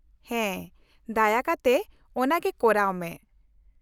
-ᱦᱮᱸ, ᱫᱟᱭᱟ ᱠᱟᱛᱮ ᱚᱱᱟ ᱜᱮ ᱠᱚᱨᱟᱣ ᱢᱮ ᱾